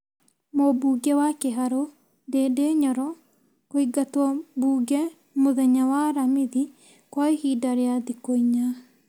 Mũmbunge wa Kĩharũ Ndindi Nyoro kũingatwombunge mũthenya wa aramithi kwa ihinda rĩa thikũ inya ,